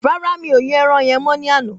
Rárá mi ò yan ẹran yen mọ ní àná